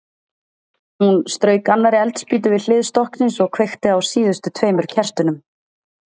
Hún strauk annarri eldspýtu við hlið stokksins og kveikti á síðustu tveimur kertunum.